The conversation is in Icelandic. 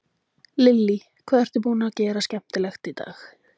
Lillý: Hvað ertu búinn að gera skemmtilegt í dag?